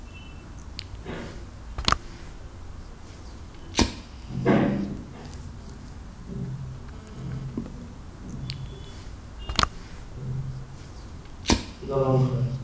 দলংখন?